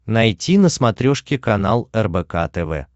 найти на смотрешке канал рбк тв